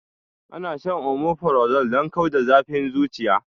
Ana shan omeprazole don kau da zafin zuciya